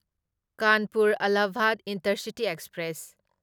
Kanpur Allahabad intercity express